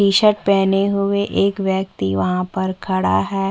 T shirt पहने हुए एक व्यक्ति वहाँ पर खड़ा है।